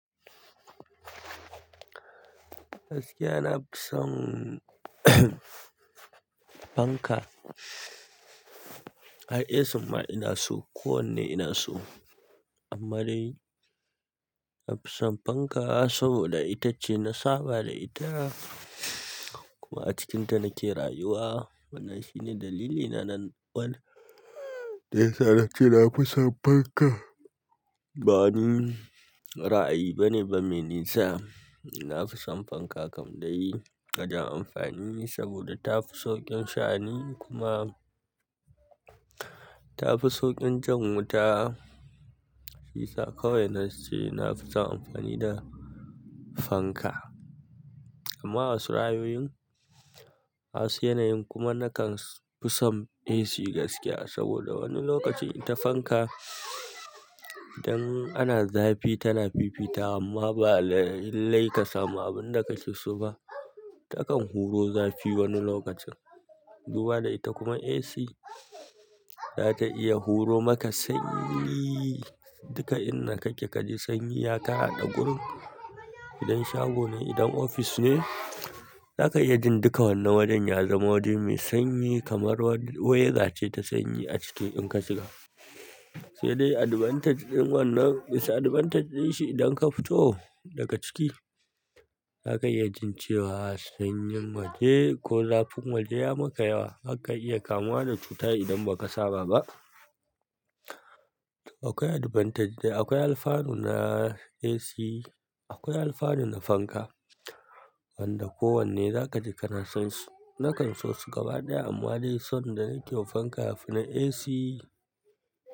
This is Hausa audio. Gaskiya, na fi son fanka. Har AC ma ina so, kowanne ina so. Amma dai na fi son fanka saboda ita ce na saba da ita kuma a cikinta nake rayuwa. Wannan shine dalilina na wan da ya sa nace na fi son fanka. Ba dai ra'ayi bane ba me nisa, na fi son fanka kam dai gadan amfani saboda tafi sauƙin sha'ani kuma tafi sauƙin jan wuta. Shiyasa kawai na ce na fi son amfani da fanka. Amma a wasu ra'ayoyin, wasu yanayin kuma nakan fi son AC gaskiya saboda wani lokacin ita fanka idan ana zafi tana fifita amma ba lallai ka samu abin da kake so ba. Takan huro zafi wani lokacin. Zuwa da ita kuma AC za ta iya huro maka sanyi, duka inda kake kaji sanyi. Ya ka haɗa gurin, idan shago ne, idan ofis ne, zaka iy jin duka wannan wajen ya zama waje mai sanyi kamar wata weda ce ta sanyi a ciki in ka shiga. Sai dai advantage ɗin wannan, disadvantage ɗinshi idan ka fito daga ciki, zakayi jin cewa sanyin waje ko zafin waje ya maka yawa. Haka iya kamuwa da cuta idan baka saba ba akwai advantage da akwai alfanu na AC, akwai alfanu na fanka wanda kowanne za kaji kana son su. Nakan so su gaba ɗaya amma dai son da nake yiwa fanka, ya fi na AC.